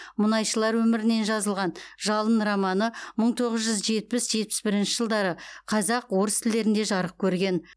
мұнайшылар өмірінен жазылған жалын романы мың тоғыз жүз жетпіс жетпіс бірінші жылдары қазақ орыс тілдерінде жарық көрген